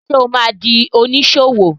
Ṣé o ma di oníṣòwò?